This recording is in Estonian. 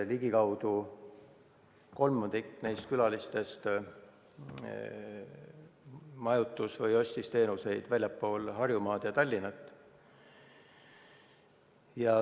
Ligikaudu kolmandik neist külalistest kasutas majutusteenust väljaspool Harjumaad ja Tallinna.